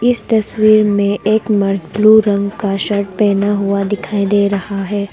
इस तस्वीर में एक मर्द ब्लू रंग का शर्ट पहना हुआ दिखाई दे रहा है।